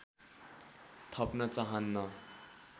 थप्न चाहन्न